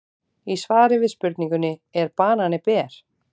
Í svari við spurningunni Er banani ber?